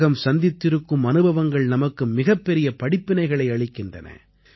உலகம் சந்தித்திருக்கும் அனுபவங்கள் நமக்கு மிகப்பெரிய படிப்பினைகளை அளிக்கின்றன